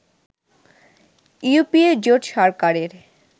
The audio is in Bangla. ইউপিএ জোট সরকারের